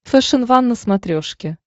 фэшен ван на смотрешке